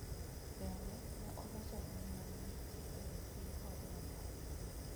Bende, ne oloso lweny ma ne nitie e wi piny Korea ma Ugwe.